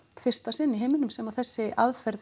fyrsta sinn í heiminum sem þessari aðferð